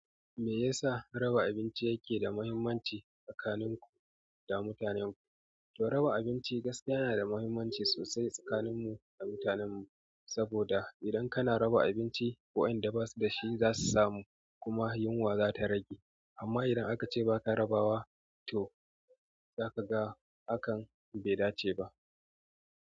Me yasa raba abinci yake da muhimmanci tsakanin ku da mutanenku? To raba abinci gaskiya yana da muhimmanci sosai tsakaninmu da mutanenmu, saboda idan kana raba abinci, waɗanda ba su da shi za su samu kuma yunwa za ta rage. Amma idan akace baka rabawa, toh, zakaga hakan bai dace ba.